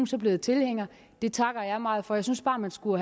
så blevet tilhænger det takker jeg meget for jeg synes bare man skulle